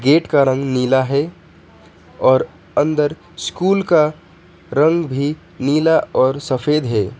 Gate का रंग नीला है और अंदर स्कूल का रंग भी नीला और सफेद है।